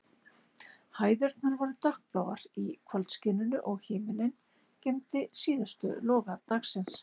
Hæðirnar voru dökkbláar í kvöldskininu, og himinninn geymdi síðustu loga dagsins.